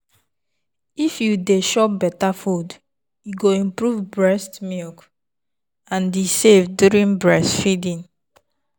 if you dey chop better food e go improve breast milk and e safe during breastfeeding.